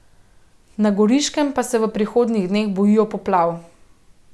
Na Goriškem pa se v prihodnjih dneh bojijo poplav.